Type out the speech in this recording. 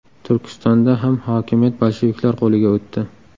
Turkistonda ham hokimiyat bolsheviklar qo‘liga o‘tdi.